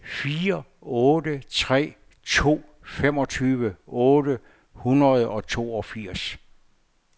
fire otte tre to femogtyve otte hundrede og toogfirs